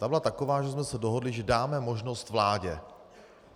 Ta byla taková, že jsme se dohodli, že dáme možnost vládě.